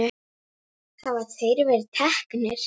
Hafa þeir verið teknir?